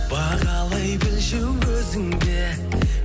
бағалай білші өзіңде